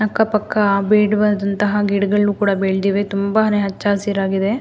ಅಕ್ಕ ಪಕ್ಕ ಬೇಡವಾದಂತಹ ಗಿಡಗಳು ಕೂಡ ಬೆಳೆದಿವೆ ತುಂಬಾನೇ ಹಚ್ಚ ಹಸಿರಾಗಿದೆ.